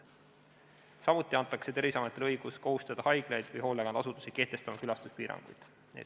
Samuti antakse Terviseametile õigus kohustada haiglaid või hoolekandeasutusi kehtestama külastuspiiranguid.